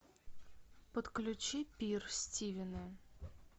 подключи пир стивена